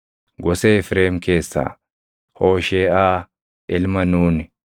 gosa Efreem keessaa Hoosheeʼaa ilma Nuuni;